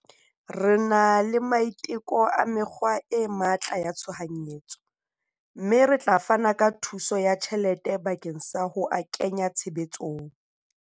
Re na le maiteko a mekgwa e matla ya tshohanyetso, mme re tla fana ka thuso ya tjhelete bakeng sa ho a kenya tshebetsong.